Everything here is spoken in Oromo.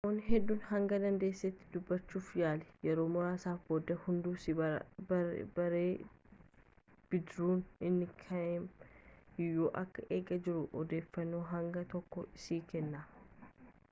namoota hedduu hanga dandeessetti dubbachuuf yaali yeroo muraasa booda hunduu si baree bidiruun inni kam eenyuun akka eegaa jiru odeeffannoo hanga tokko sii kenna